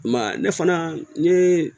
I ma ye ne fana ni